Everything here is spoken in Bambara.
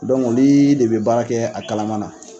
olu de bɛ baara kɛ a kalama na